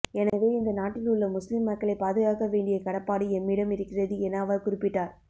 எனவே இந்த நாட்டில் உள்ள முஸ்லிம் மக்களை பாதுகாக்க வேண்டிய கடப்பாடு எம்மிடம் இருக்கிறது என அவர் குறிப்பிட்டார்